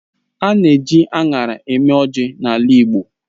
A na èji aṅara eme ọjị n'ala igbo.